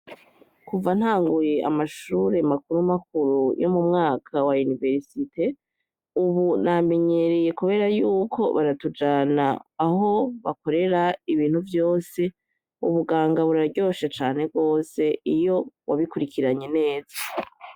Kuva ntanguye amashure makurumakuru yo mu mwaka wa yuniversite, ubu namenyereye, kubera yuko baratujana aho bakorera ibintu vyose ubuganga buraryoshe cane rwose iyo wabikurikiranye neza.